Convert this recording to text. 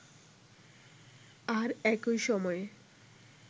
আর একই সময়ে